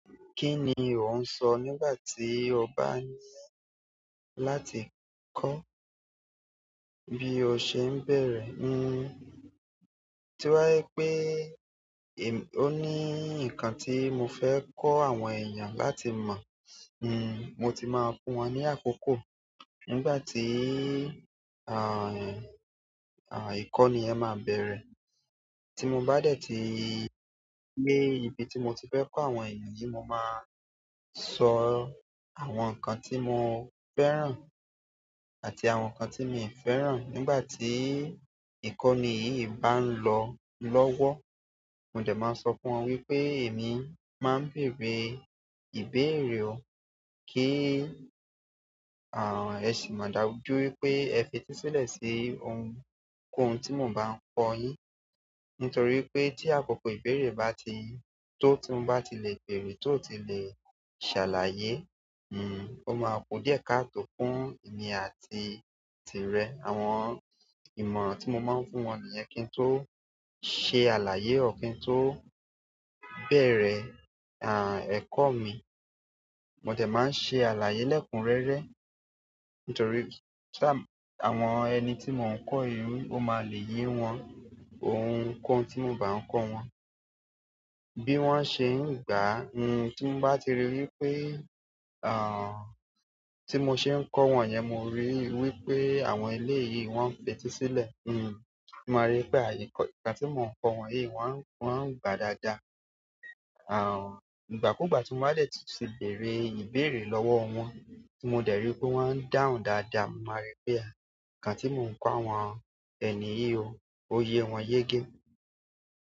Kí ni ò ń sọ nígbà tí o bá ní láti kọ́ bí o ṣe ń bẹ̀rẹ̀? Tó bá jẹ́ pé-- ó ní nǹkan tí mo fẹ́ kọ́ àwọn èèyàn láti mọ̀, mo ti máa fún wọn ní àkókò nígbà tí, ìkọ́ni yẹn máa bẹ̀rẹ̀. Tí mo bá dẹ̀ tí dé ibi tí mo ti fẹ́ kọ́ àwọn èèyàn yìí, mo máa sọ àwọn nǹkan tí mo fẹ́ràn àti àwọn nǹkan tí mi ò fẹ́ràn. Nígbà tí ìkọ́ni yìí bá ń lọ lọ́wọ́, mo dẹ̀ máa sọ fún wọn wípé èmi máa ń bèèrè ìbéèrè o, kí ẹ sì mọ̀ dájú wípé ẹ fetísílẹ̀ sí ohun-kohun tí mo bá ń kọ́ yín. Nítorí pé tí àkókò ìbéèrè bá ti, tó ti ń bá ti le bèèrè, tó ti le ṣàlàyé, ó máa kun díẹ̀ káàtò fún èmi àti tirẹ̀. Àwọn ìmọ̀ràn tí mo máa ń fún wọn nìyẹn kín tó ṣe àlàyé, or kín tó bẹ̀rẹ̀, ẹ̀kọ́ mi. Mo dẹ̀ máa ń ṣe àlàyé lẹ́kunrẹ́rẹ́ nítorí tí àwọn ẹni tí mò ń kọ́ yìí, ó máa lè yé wọn ohunkóhun tí mò bá ń kọ́ wọn bí wọ́n ṣe ń gbàá. Tí mo bá ti rí wípé, tí mo ṣe ń kọ́ wọn yẹn mo rí wípé àwọn eléèyì wọ́n ń fetísílẹ̀, mo máa rí pé ẹ̀kọ̀, ǹkan tí mò ń kọ́ wọn yìí wọ́n, wọ́n ń gbàá dáadáa. Ìgbàkúgbà tí mo bá dẹ̀ tún ti béèrè ìbéèrè lọ́wọ́ wọn tí mo dẹ̀ rí pé wọ́n ń dáhùn dáadáa, mo máa rí pé ǹkan tí mò ń kọ́ àwọn ẹni yìí o, ó yé wọn yégé.